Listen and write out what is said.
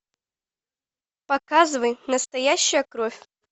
показывай настоящая кровь